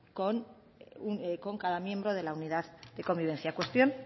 con cada miembro de la unidad de convivencia cuestión